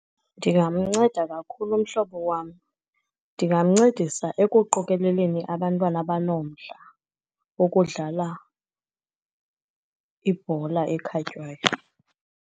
Ndingamnceda kakhulu umhlobo wam. Ndingamncedisa ekuqokeleleni abantwana abanomdla wokudlala ibhola ekhatywayo.